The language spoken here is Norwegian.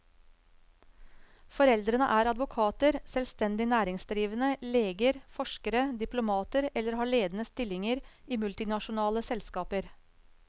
Foreldrene er advokater, selvstendig næringsdrivende, leger, forskere, diplomater eller har ledende stillinger i multinasjonale selskaper.